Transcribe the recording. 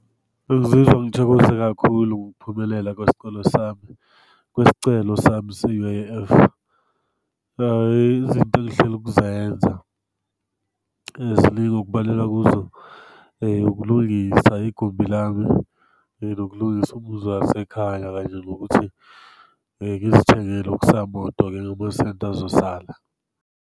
Bengizizwa ngithokoze kakhulu ngokuphumelela kwesikole sami, kwesicelo sami se-U_I_F. Izinto engihlele ukuzenza ziningi okubalelwa kuzo ukulungisa igumbi lami, nokulungisa umuzi wasekhaya kanje nokuthi ngizithengele okusamoto ngalamasenti azosala.